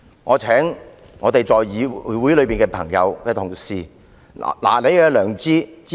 我請議會內的朋友、同事拿出你的良知，支持這項議案。